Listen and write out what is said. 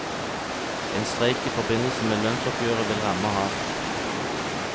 En streik i forbindelse med lønnsoppgjøret vil ramme hardt.